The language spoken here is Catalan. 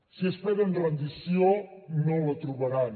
si esperen rendició no la trobaran